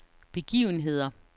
begivenheder